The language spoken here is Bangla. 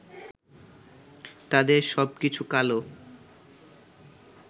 তাদের সবকিছু কালো